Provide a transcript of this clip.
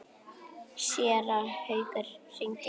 Séra Haukur hringdi í mig.